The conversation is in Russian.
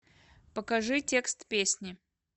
покажи текст песни